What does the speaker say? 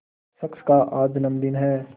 शख्स का आज जन्मदिन है